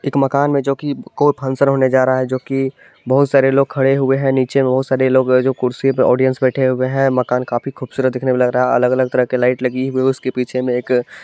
एक मकान मे जो की कोई फंक्शन होने जा रहा हैजो की बहुत सारे लोग खड़े हुए है नीचे बहुत सारे लोग है जो कुर्सी पे आडियन्स बैठे हुए है। मकान काफी खूबसूरत देखने मे लग रहा हैअलग-अलग तरह की लाइट लगी हुई है। उसके पीछे मे एक---